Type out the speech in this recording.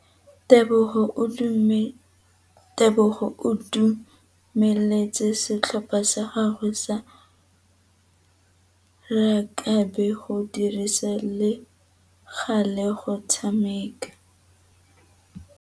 Tebogô o dumeletse setlhopha sa gagwe sa rakabi go dirisa le galê go tshameka.